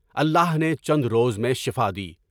اللہ نے چند روز میں شفاء دی۔